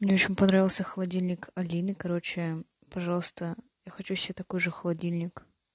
мне очень понравился холодильник алины короче пожалуйста я хочу себе такой же холодильник